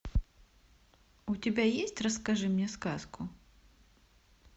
у тебя есть расскажи мне сказку